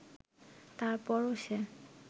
তারপরও সে